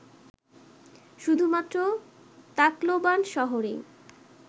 শুধুমাত্র তাকলোবান শহরেই